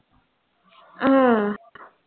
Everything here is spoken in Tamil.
அஹ்